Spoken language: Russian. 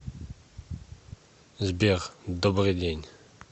сбер добрый день